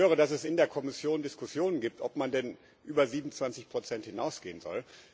Ich höre, dass es in der Kommission Diskussionen gibt, ob man denn über 27 hinausgehen soll.